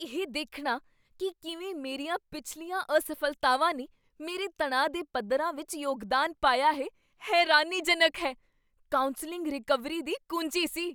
ਇਹ ਦੇਖਣਾ ਕੀ ਕਿਵੇਂ ਮੇਰੀਆਂ ਪਿਛਲੀਆਂ ਅਸਫ਼ਲਤਾਵਾਂ ਨੇ ਮੇਰੇ ਤਣਾਅ ਦੇ ਪੱਧਰਾਂ ਵਿੱਚ ਯੋਗਦਾਨ ਪਾਇਆ ਹੈ ਹੈਰਾਨੀਜਨਕ ਹੈ। ਕਾਉਂਸਲਿੰਗ ਰਿਕਵਰੀ ਦੀ ਕੁੰਜੀ ਸੀ।